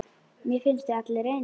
Mér finnst þið allir eins.